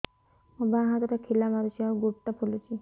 ମୋ ବାଆଁ ହାତଟା ଖିଲା ମାରୁଚି ଆଉ ଗୁଡ଼ ଟା ଫୁଲୁଚି